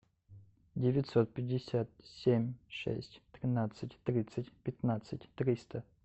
девятьсот пятьдесят семь шесть тринадцать тридцать пятнадцать триста